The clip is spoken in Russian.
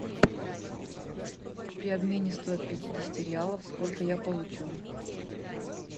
при обмене сто пятидесяти реалов сколько я получу